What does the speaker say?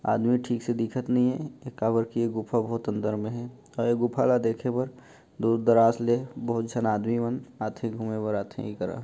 आदमी ठीक से दिखत नई हे काबर की ये गुफ़ा बहुत अंदर में हे ये गुफा ला देखे बर दूर दरास ले बहुत झन आदमी मन आथे घूमे बर आथे ई करा --